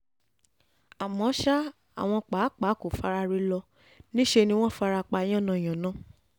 àmọ́ ṣá àwọn pàápàá kò faraare lọ níṣẹ́ ni wọ́n fara pa yànnàyàn